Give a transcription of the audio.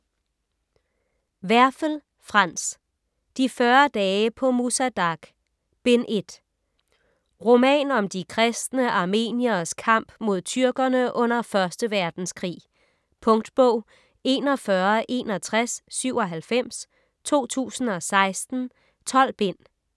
Werfel, Franz: De 40 dage på Musa Dagh: Bind 1 Roman om de kristne armenieres kamp mod tyrkerne under 1. verdenskrig. . Punktbog 416197 2016. 12 bind.